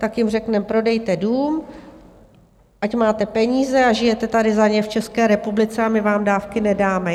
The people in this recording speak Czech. Tak jim řekneme, prodejte dům, ať máte peníze a žijete tady za ně v České republice, a my vám dávky nedáme?